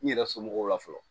N yɛrɛ somɔgɔw la fɔlɔ